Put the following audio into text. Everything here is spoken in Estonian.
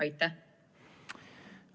Aitäh!